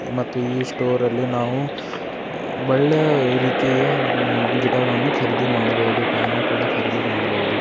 ಮತ್ತು ಈ ಸ್ಟೋರ್ ಅಲ್ಲಿ ನಾವು ಹಾ- ಒಳ್ಳೆಯ ರೀತಿಯ ಮ್ಮ್ - ಗಿಟಾರ್ ಗಳನ್ನೂ ಖರೀದಿ ಮಾಡಬಹುದು ಪಿಯಾನೋ ಕೂಡಾ ಖರೀದಿ ಮಾಡಬಹುದು.